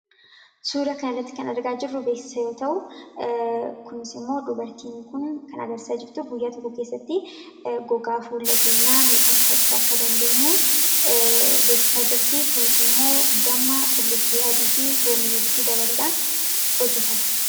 Suura kan irratti kan argaa jirru beeksisa yoo ta'u kunisimmoo dubartiin kun kan agarisaa jirtu guyyaa tokko keessatti gogaa fuulla keenyaa miidhakfachuu akka dandeenyu beeksisaa jirtii. Kunis immoo damma, qullubbi adii, fi loomi wolitti dabaluudhaan hojjetama.